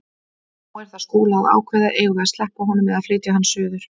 Nú er það Skúla að ákveða: Eigum við að sleppa honum eða flytja hann suður?